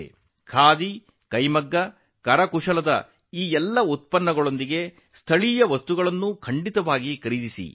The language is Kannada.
ಖಾದಿ ಕೈಮಗ್ಗ ಕರಕುಶಲ ವಸ್ತುಗಳುಈ ಎಲ್ಲಾ ಉತ್ಪನ್ನಗಳ ಜೊತೆಗೆ ನೀವು ಸ್ಥಳೀಯ ವಸ್ತುಗಳನ್ನು ಖರೀದಿಸಬೇಕು